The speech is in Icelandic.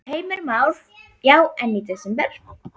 Heimir Már: Já, en í desember?